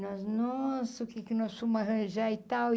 Nós nossa, o que que nós fomos arranjar e tal.